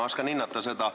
Ma oskan seda hinnata.